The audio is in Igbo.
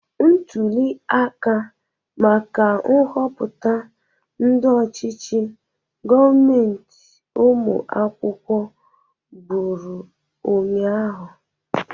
Ntuli aka maka nhọpụta ndị ọchichi gọọmentị ụmụ akwụkwọ bụrụ ụnyaahụ.